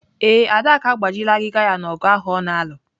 Ee, Adaku agbajiela agịga ya n'ogụ ahụ ọ na-alụ.